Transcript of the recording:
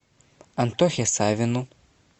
антохе савину